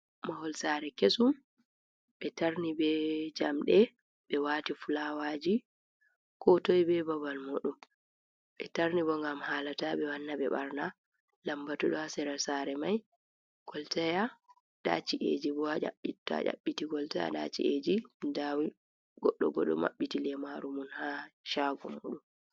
Mahol sare kesum be tarni ɓe jamɗe, ɓe wati fulawaji ko toi be babal mudum, ɓe tarni bo ngam hala ta ɓe wana ɓe ɓarna, lambatu ɗo ha sera sare mai koltaya nda ci’eji bo a aiabbiti koltaya nda ci’eji dawi goddo goddo mabbiti lemaru mum ha chago mudum.